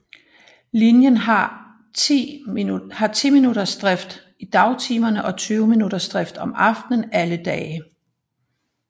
Linjen har 10 minuttersdrift i dagtimerne og 20 minuttersdrift om aftenen alle dage